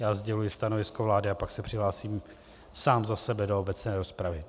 Já sděluji stanovisko vlády a pak se přihlásím sám za sebe do obecné rozpravy.